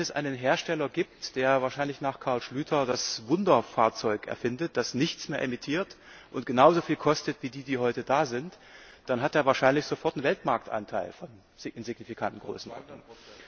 Wenn es einen Hersteller gibt, der wahrscheinlich nach Carl Schlyter das Wunderfahrzeug erfindet, das nichts mehr emittiert und genauso viel kostet wie die, die heute da sind, dann hat der wahrscheinlich sofort einen Weltmarktanteil in signifikanten Größenordnungen.